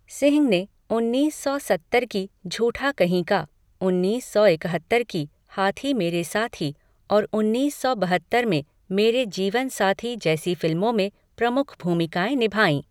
सिंह ने उन्नीस सौ सत्तर की झूठा कहीं का, उन्नीस सौ इकहत्तर की हाथी मेरे साथी और उन्नीस सौ बहत्तर में मेरे जीवन साथी जैसी फिल्मों में प्रमुख भूमिकाएँ निभाईं।